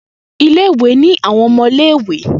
Ile-iwe ni awọn ọmọ ile-iwe.